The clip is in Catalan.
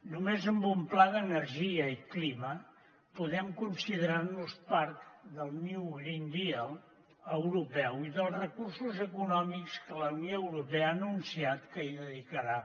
només amb un pla d’energia i clima podem considerar nos part del green new deal europeu i dels recursos econòmics que la unió europea ha anunciat que hi dedicarà